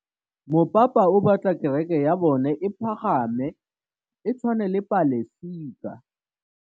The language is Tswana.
Mopapa o batla kereke ya bone e pagame, e tshwane le paselika.